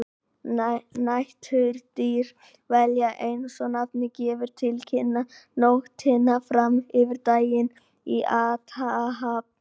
Næturdýr velja, eins og nafnið gefur til kynna, nóttina fram yfir daginn til athafna.